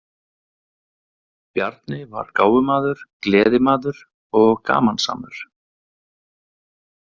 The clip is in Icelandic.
Bjarni var gáfumaður, gleðimaður og gamansamur.